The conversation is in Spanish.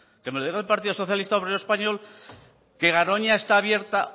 que me lo diga el partido socialista obrero español que garoña está abierta